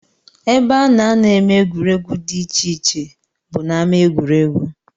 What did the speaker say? Ebe a na-anọ eme egwuregwu dị iche ihe bụ n'ámá egwuregwu